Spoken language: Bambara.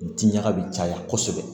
U ti ɲaga bi caya kosɛbɛ